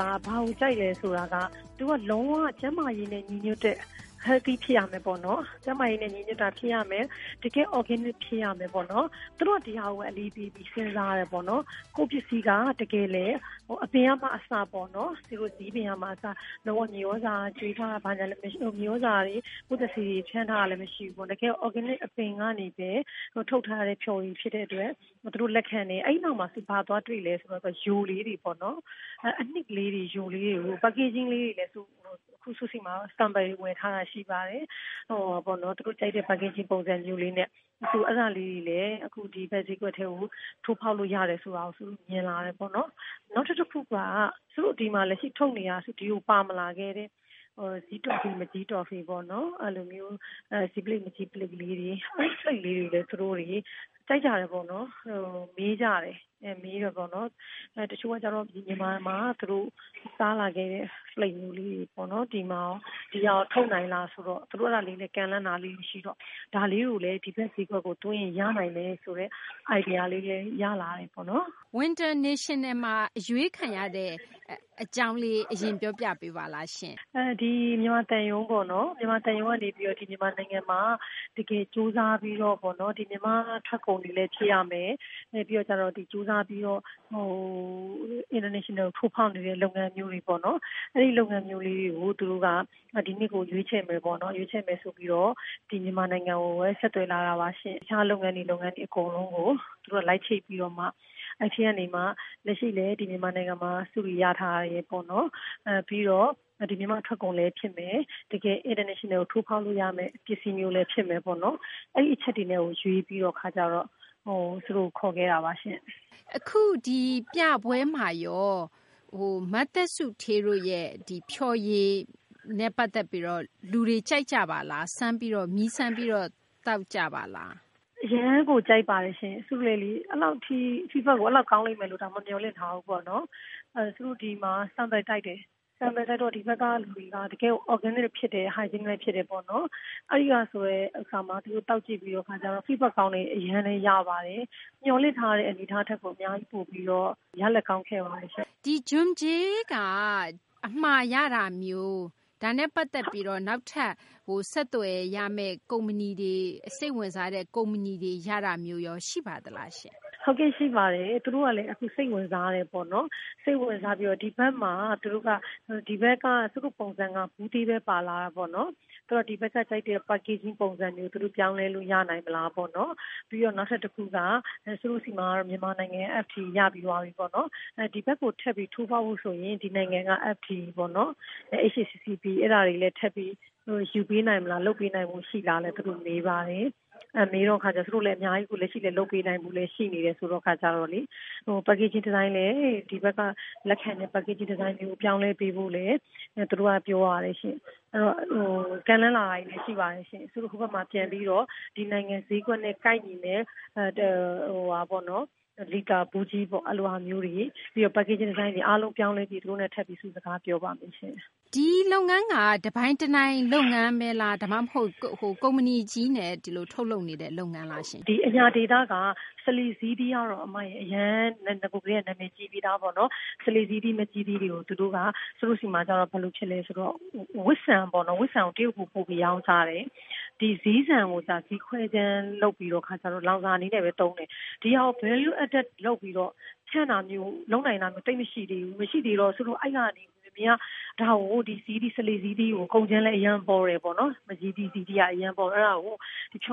က ဘာကိုကြိုက်လဲ ဆိုတော့ သူက လုံး၀ ကျန်းမာရေးနဲ့ ညီညွတ်တဲ့ Healthy ဖြစ်ရမယ်ပေါ့နော်။ ကျန်းမာရေးနဲ့ ညီညွတ်တာ ဖြစ်ရမယ်၊ တကယ့် အော်ဂဲနစ် ဖြစ်ရမယ် ပေါ့နော်။ သူတို့က ဒီဟာကိုဘဲ အလေးပေးပြီး စဉ်းစားတယ်ပေါ့နော်။ ကိုယ့်ပစ္စည်းက တကယ်လည်း အပင်က အစပေါ့နော် ဇီးပင်က အစ လုံး၀ မြေသြဇာ ကြွေး၊ ပိုးသတ်ဆေး ဖြန်းထားတာတွေ မရှိဘူးပေါ့။ တကယ်ကို အော်ဂဲနစ် အပင်ကနေ ထုတ်ထားတဲ့ ဖျော်ရည် ဖြစ်တဲ့ အတွက် သူတို့ လက်ခံတယ်။ အဲဒီနောက်မှာ သူတို့ ဘာသွားတွေ့လဲ ဆိုတော့ ယို လေးတွေပေါ့နော်။ အနှစ် ကလေးတွေ၊ ယိုလေးတွေကို Packaging လေးတွေနဲ့ အခု ကျမဆီမှာ Sample တွေ ဝယ်ထားတာ ရှိပါတယ်။ သူတို့ ကြိုက်တဲ့ ထုပ်ပိုးမှု ပုံစံမျိုးလေးနဲ့ ဒီဘက် ဈေးကွက်ကို ထိုးဖောက်လို့ ရတယ်ဆိုတာကို မြင်လာတယ်ပေါ့နော်။ နောက်ထပ် တခုက စုတို့ လက်ရှိ ထုတ်နေပြီး ဒီကို ပါမလာခဲ့တဲ့ ဇီးတော်ဖီ၊ မကျည်းတော်ဖီပေါ့နော် အဲဒါလေးတွေ၊ နောက် ဇီးဖလိပ် မကျည်း ဖလိပ်လေးတွေလည်း သူတို့တွေ ကြိုက်ကြတယ်ပေါ့နော်။ မေးကြတယ်။ တချို့ကတော့ သူတို့ မြန်မာမှာ စားလာခဲ့တဲ့ ဖလိပ်လေးတွေ ပေါ့နော် ဒီဟာကို ထုတ်နိုင်လားဆိုတော့ သူတို့ အဲဒါလေးတွေလည်း ကမ်းလှမ်းတာလေးတွေ ရှိတော့ ဒါလေးတွေလည်း ဒီဘက် ဈေးကွက်ကို သွင်းရင် ရနိုင်တယ် ဆိုတဲ့ စိတ်ကူးလည်း ရလာတယ်ပေါ့နော်။ Winternational ပြပွဲမှာ အရွေးခံရတဲ့ အကြောင်းလေး ပြောပြပေးပါရှင်။ ဒီ မြန်မာသံရုံးက နေပြီးတော့ မြန်မာနိုင်ငံမှာ တကယ် ကြိုးစားပြီး မြန်မာ့ ထွက်ကုန်တွေလည်း ဖြစ်ရမယ်၊ ကြိုးစားပြီးတော့ နိုင်ငံတကာကို ထိုးဖောက်နေတဲ့ လုပ်ငန်းမျိုးပေါ့နော် အဲလို လုပ်ငန်းမျိုးတွေကို သူတို့က ဒီနှစ်ကို ရွေးချယ်မယ် ပေါ့နော်။ ရွေးချယ်မယ်ဆိုပြီးတော့ မြန်မာနိုင်ငံကို ဆက်သွယ်လာတာပါရှင့်။ တခြား လုပ်ငန်းတွေ လုပ်ငန်းတွေ အကုန်လုံးကို သူတို့က လိုက်ချိတ်ပြီးတော့မှ အဲဒီထဲကမှ လက်ရှိလည်း ဒီ မြန်မာနိုင်ငံမှာ ဆုတွေ ရထားတယ်ပေါ့နော်၊ ပြီးတော့ မြန်မာ့ ထွက်ကုန်လည်း ဖြစ်မယ်၊ တကယ် နိုင်ငံတကာကို ထိုးဖောက်လို့ ရမယ့် ပစ္စည်းမျိုးလည်း ဖြစ်မယ်ပေါ့နော်။ အဲဒီ အချက်တွေနဲ့ ရွေးပြီးတဲ့ အခါကျတော့ ခေါ်ခဲ့တာပါရှင့်။ အခု ပြပွဲမှာရော မသက်စုဌေးတို့ရဲ့ ဖျော်ရည်ကို လူတွေ ကြိုက်ကြပါလား။ မြည်းစမ်းပြီးတော့ သောက်ကြပါလား။ အရမ်းကို ကြိုက်ပါတယ်ရှင့်။ စုလည်းလေ Feedback ကို အဲလောက် ကောင်းလိမ့်မယ်လို့ကို မျှော်လင့်မထားဘူးပေါ့။ စုတို့ ဒီမှာ Sample တိုက်တယ်။ ဒီဘက်က လူတွေက တကယ်ကို အော်ဂဲနစ် ဖြစ်တယ်၊ သန့်လည်း သန့်ရှင်းတယ်ပေါ့နော် အဲတော့ သူတို့ သောက်ကြည့်ပြီးတဲ့ အခါမှာ Feedback ကောင်းတွေ အရမ်းလည်း ရပါတယ်။ မျှော်လင့်ထားတဲ့ ထက်ကို ရလဒ်ကောင်းခဲ့ပါတယ်ရှင့်။ ဒီ Jumjel က အမှာရတာမျိုး၊ ဒါနဲ့ ပတ်သက်ပြီးတော့ နောက်ထပ် ဆက်သွယ်ရမယ့် ကုမ္ပဏီတွေ၊ စိတ်ဝင်စားတဲ့ ကုမ္ပဏီတွေ ရတာမျိုးရော ရှိပါသလားရှင့်။ ဟုတ်ကဲ့ ရှိပါတယ်။ သူတို့ကလည်း အခု စိတ်ဝင်စားတယ်ပေါ့နော်။ ဒီဘက်မှာ သူတို့က။ စုတို့က ဘူးသေးဘဲ ပါလာတာပေါ့နော်။ သူတို့က ဒီဘက်က ကြိုက်တဲ့ ထုပ်ပိုးမှု ပုံစံမျိုး သူတို့ ပြောင်းလဲလို့ ရနိုင်မလားပေါ့နော်။ ပြီးတော့ နောက်ထပ် တခုက စုတို့ ဆီမှာတော့ မြန်မာနိုင်ငံက FDA ရပြီးသွားပြီပေါ့နော်။ ဒီဘက်ကို ထပ်ပြီး ထိုးဖောက်ဖို့ ဆိုရင် ဒီနိုင်ငံက FDA ပေါ့နော် အဲဒါတွေ ယူပေးနိုင်မလား၊ လုပ်ပေးနိုင်မလားလည်း သူတို့ မေးပါတယ်။ လက်ရှိလည်း လုပ်ပေးနိုင်တဲ့သူ ရှိနေတဲ့ အခါကျတော့လေ ထုပ်ပိုးမှု ပုံစံလည်း ဒီဘက်က လက်ခံတဲ့ ဒီဇိုင်းမျိုး ပြောင်းပေးဖို့လည်း သူတို့က ပြောပါတယ်ရှင့်။ ကမ်းလှမ်းလာတာတွေလည်း ရှိပါတယ်ရှင့်။ စုတို့ ဟိုဘက်မှာ ပြန်ပြီးတော့ ဒီနိုင်ငံ ဈေးကွက်နဲ့ ကိုက်ညီမယ့် လီတာ ဘူးကြီးပေါ့၊ ပြီးတော့ ထုပ်ပိုးမှု ဒီဇိုင်းတွေ အားလုံး ပြောင်းပြီး သူတို့နဲ့ ထပ်ပြီး စကားပြောပါမယ်ရှင့်။ ဒီလုပ်ငန်းက တပိုင်တနိုင် လုပ်ငန်းလား၊ ကုမ္ပဏီကြီးနဲ့ ထုတ်လုပ်နေတဲ့ လုပ်ငန်းလားရှင့်။ ဒီ အညာဒေသက စလေဇီးသီးကတော့ အရင်ကတည်းက နာမည်ကြီးပြီးသားပေါ့နော်။ စလေ ဇီးသီး မကျည်းသီးတွေကို စုတို့ဆီမှာ ဘယ်လို ဖြစ်လဲ ဆိုတော့ ဝတ်ဆံ ပေါ့နော် ဝတ်ဆံကို တရုတ်ပြည် ပို့ပြီး ရောင်းစားတယ်။ ဇီးဆန်ကိုကျတော့ ခွဲခြမ်းလုပ်ပြီး လောင်စာ အနေနဲ့ဘဲ သုံးတယ်။ ဒီဟာကို Value Added လုပ်ပြီး ဖြန့်တာမျိုး လုပ်နိုင်တာမျိုး သိပ်မရှိဘူး။ အဲဒါနဲ့ ဒါကို မကျည်းသီး၊ ဇီးသီးကို ကုန်ကြမ်းလည်း အရမ်းပေါတယ်ပေါ့နော်။ အဲဒီကနေ ဖျော်